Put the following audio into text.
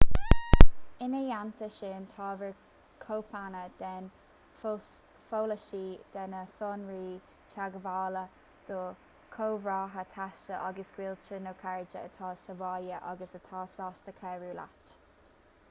ina theannta sin tabhair cóipeanna den pholasaí/de na sonraí teagmhála do chomrádaithe taistil agus gaolta nó cairde atá sa bhaile agus atá sásta cabhrú leat